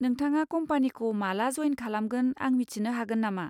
नोंथाङा कम्पानिखौ माला जयेन खालामामोन आं मिथिनो हागोन नामा?